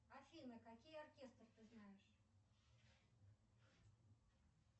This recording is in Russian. афина какие оркестры ты знаешь